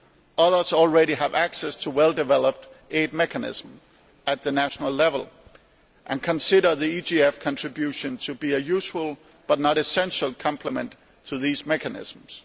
Others already have access to well developed aid mechanisms at national level and consider the EGF contribution to be a useful but not essential complement to these mechanisms.